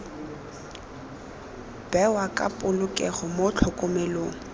bewa ka polokego mo tlhokomelong